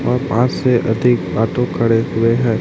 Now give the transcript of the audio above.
और पांच से अधिक ऑटो खड़े हुए हैं।